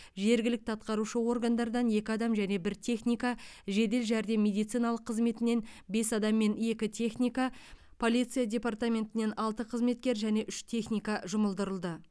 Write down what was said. жергілікті атқарушы органдардан екі адам және бір техника жедел жәрдем медициналық қызметінен бес адам мен екі техника полиция деартаментінен алты қызметкер және үш техника жұмылдырылды